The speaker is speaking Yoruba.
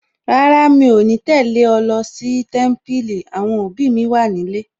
Rárá, mi ò ní lè tẹ̀lé ẹ lọ sí Témípìlì, àwọn òbí mi wà nílé